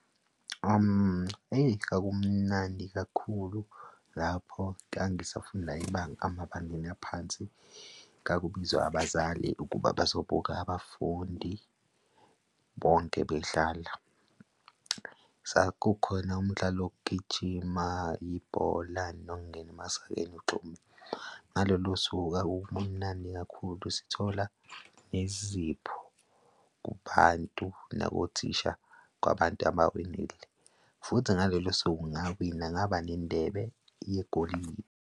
Eyi, kwakumnandi kakhulu lapho ngangisafunda ibanga, emabangeni aphansi, kwakubizwa abazali ukuba bazobuka abafundi bonke bedlala. Kukhona umdlalo wokugijima, ibhola nokungena emasakeni ugxume. Ngalolo suku kwakukumnandi kakhulu, sithola nezipho kubantu nabothisha kwabantu abawinile. Futhi ngalelo suku ngawina ngaba nendebe yegolide.